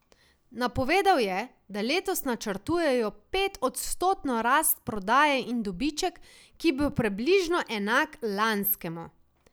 Napovedal je, da letos načrtujejo petodstotno rast prodaje in dobiček, ki bo približno enak lanskemu.